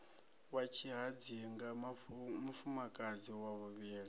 ya tshihadzinga mufumakadzi wa vhuvhili